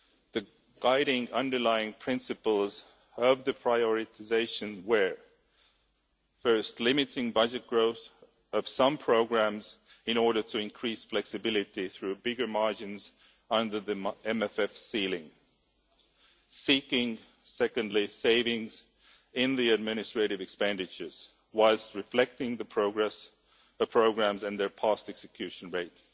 The guiding underlying principles of the prioritisation were first, limiting budget growth of some programmes in order to increase flexibility through bigger margins under the MFF ceiling, and secondly, seeking savings in the administrative expenditures whilst reflecting the progress of the programmes and their past execution rate.